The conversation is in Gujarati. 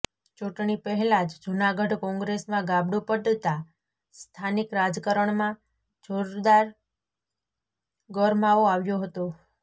ચૂંટણી પહેલાં જ જૂનાગઢ કોંગ્રેસમાં ગાબડું પડતાં સ્થાનિક રાજકારણમાં જોરદાર ગરમાવો આવ્યો હતો